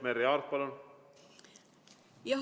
Merry Aart, palun!